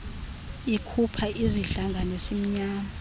likhupha izidlanga nesimnyama